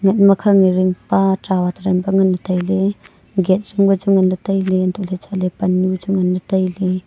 ngat makhang e ring pa trawat ringpa ngan le taile gate ngan le taile hantoh ley chatle pannu chu ngan le taile.